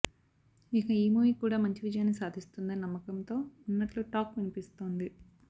ఇక ఈ మూవీ కూడా మంచి విజయాన్ని సాధిస్తుందని నమ్మకంతో ఉన్నట్లు టాక్ వినిపిస్తోంది